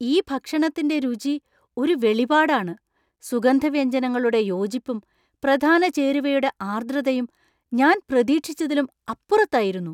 ഈ ഭക്ഷണത്തിന്‍റെ രുചി ഒരു വെളിപാടാണ്; സുഗന്ധവ്യഞ്ജനങ്ങളുടെ യോജിപ്പും, പ്രധാന ചേരുവയുടെ ആർദ്രതയും ഞാൻ പ്രതീക്ഷിച്ചതിലും അപ്പുറത്തതായിരുന്നു .